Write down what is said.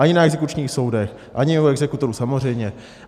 Ani na exekučních soudech, ani u exekutorů, samozřejmě.